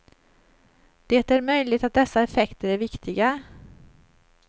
Det är möjligt att dessa effekter är viktiga.